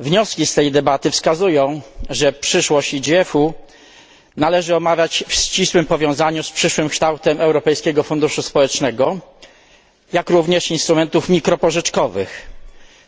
Wnioski z tej debaty wskazują, że przyszłość EGF należy omawiać w ścisłym powiązaniu z przyszłym kształtem Europejskiego Funduszu Społecznego, jak również instrumentów mikropożyczkowych,